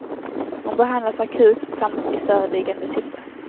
Hon behandlas akut, samt i förebyggande syfte.